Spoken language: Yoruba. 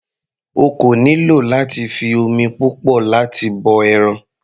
O kò nílò láti fi omi púpọ̀ láti bọ ẹran.